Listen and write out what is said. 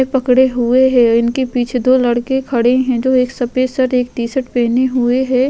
ये पकड़े हुए हैं। उनके पीछे दो लड़के खड़े हैं जो एक सफेद शर्ट एक टी-शर्ट पहने हुए है।